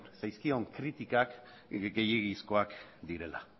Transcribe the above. zaizkion kritikak gehiegizkoak direla